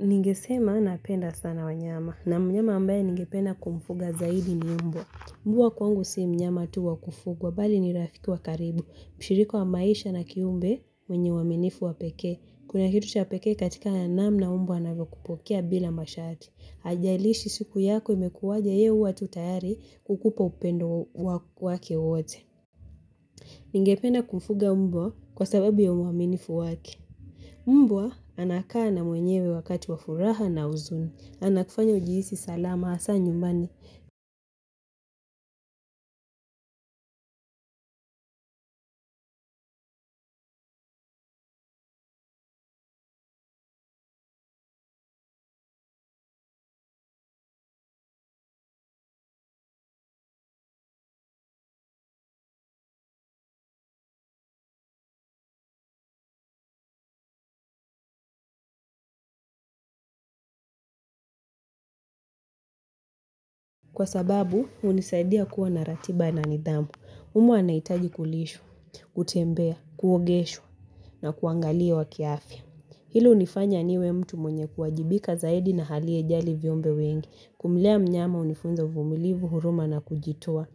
Ningesema napenda sana wanyama na mnyama ambaye ningepena kumfuga zaidi ni mmbwa. Mmbwa kwangu sii mnyama tu wa kufuga, bali nirafiki wa karibu. Mshiriko wa maisha na kiumbe mwenye waminifu wa peke. Kuna kitu ha peke katika ya namna mmbwa anavyokupokea bila mashati. Haijailishi siku yako imekuwaje yeye huwa tayari kukupa upendo wake wote. Ningependa kumfuga mmbwa kwa sababu ya waminifu wake. Mbwa anakaa na mwenyewe wakati wafuraha na uzuni, anakufanya ujihisi salama asa nyumbani kwa sababu unisaidia kuwa na ratiba na nidhamu, umbwa anaitaji kulishwa, kutembea, kuogeshwa na kuangalia wakiafi. Hilo unifanya niwe mtu mwenye kuwajibika zaidi na halie jali vyumbe wengi, kumlea mnyama unifunza uvumilivu huruma na kujitua.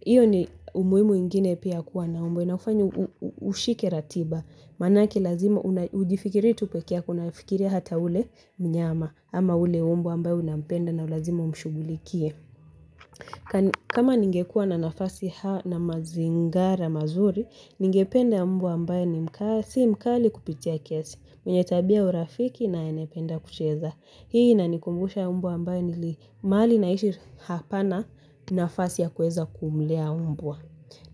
Iyo ni umuimu ingine pia kuwa na umbwa inafanyo ushike ratiba, manaki lazima ujifikirie tu peke yako unafikiria hata ule mnyama ama ule umbwa ambayo unapenda na ulazima umshugulikie. Kama ningekua na nafasi hao na mazingara mazuri, ningependa mbwa ambae ni mka si mkali kupitia kiasi, mwenye tabia urafiki na anaependa kucheza. Hii inanikumbusha mbwa ambae nili mahali naishi hapana nafasi ya kueza kumlea mbwa.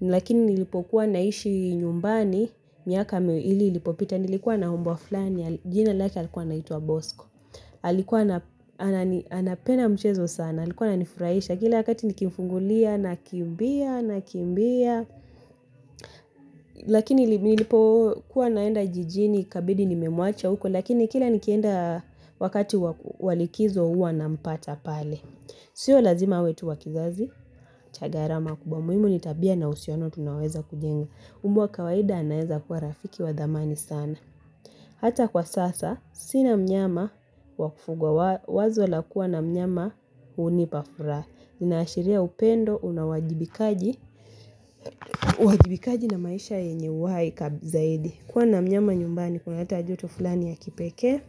Lakini nilipokuwa naishi nyumbani, miaka miwili ilipopita nilikuwa na mbwa fulani, jina laki alikuwa anaitua bosko. Halikua anapenda mchezo sana, halikua anifuraisha, kila wakati nikimfungulia, nakimbia, nakimbia. Lakini nilipo kuwa naenda jijini kabidi nimemwacha huko, lakini kila nikienda wakati wa likizo uwa nampata pale. Sio lazima wetu wa kizazi, cha garama kubwa muimu nitabia na usiano tunaweza kujenga. Umba kawaida anaeza kuwa rafiki wa dhamani sana. Hata kwa sasa, sina mnyama wakufuga, wazo lakua na mnyama unipafura. Ninaashiria upendo, unawajibikaji. Uwajibikaji na maisha yenye uwai kab zaidi. Kuwa na mnyama nyumbani, kuna huleta joto fulani ya kipeke,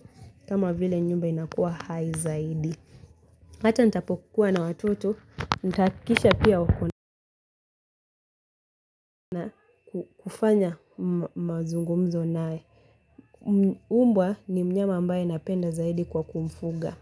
kama vile nyumba inakuwa haizaidi. Hata ntapokuwa na watoto, ntakisha pia wakona kufanya mazungumzo nae. Umbwa ni mnyama ambaye napenda zaidi kwa kumfuga.